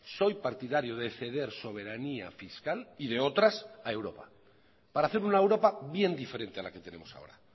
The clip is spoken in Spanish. soy partidario de ceder soberanía fiscal y de otras a europa para hacer una europa bien diferente a la que tenemos ahora